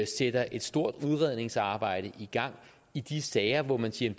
sætter et stort udredningsarbejde i gang i de sager hvor man siger